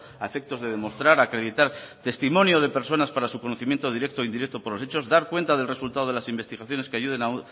a efectos de demostrar acreditar testimonio de personas para su conocimiento directo e indirecto por los hechos dar cuenta del resultado de las investigaciones que ayuden